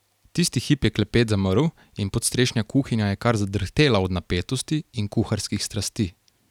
Tisti hip je klepet zamrl in podstrešna kuhinja je kar zadrhtela od napetosti in kuharskih strasti.